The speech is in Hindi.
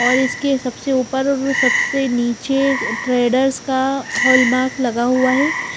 और इसके सबसे ऊपर और सबसे नीचे ट्रेडर्स का हॉलमार्क लगा हुआ है।